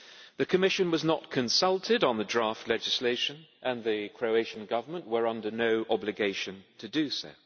The Commission was not consulted on the draft legislation, and the Croatian government was under no obligation to do so.